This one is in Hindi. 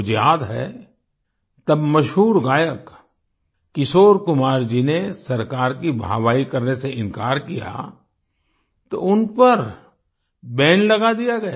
मुझे याद है तब मशहूर गायक किशोर कुमार जी ने सरकार की वाहवाही करने से इनकार किया तो उन पर बैन लगा दिया गया